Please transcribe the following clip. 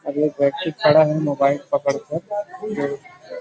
अब एक व्यक्ति खड़ा है मोबाइल पकड़कर जो।